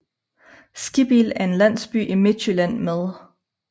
Skibbild er en landsby i Midtjylland med